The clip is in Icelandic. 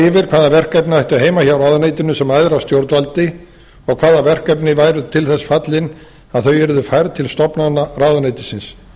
yfir hvaða verkefni ættu heima hjá ráðuneytinu sem æðra stjórnvaldi og hvaða verkefni væru til þess fallin að þau yrðu færð til stofnana ráðuneytisins